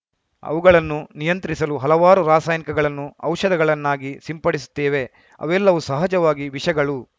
ಅವುಗಳನ್ನು ನಿಯಂತ್ರಿಸಲು ಹಲವಾರು ರಸಾಯನಿಕಗಳನ್ನು ಔಷಧಗಳ ನ್ನಾಗಿ ಸಿಂಪಡಿಸುತ್ತೇವೆ ಅವೆಲ್ಲವೂ ಸಹಜವಾಗಿ ವಿಷಗಳು